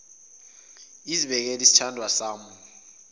izibekele sithandwa sami